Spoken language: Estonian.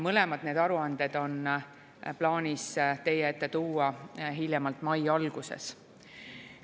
Mõlemad aruanded on plaanis teie ette tuua hiljemalt mai alguses.